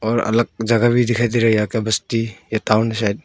और अलग जगह भी दिखाई दे रही है बस्ती या टाऊन है शायद।